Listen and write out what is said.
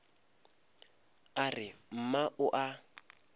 a re mma o a